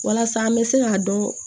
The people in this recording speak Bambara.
Walasa an bɛ se k'a dɔn